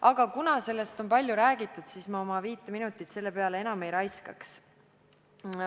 Aga kuna sellest on palju räägitud, siis ma oma viite minutit selle peale ei raiskaks.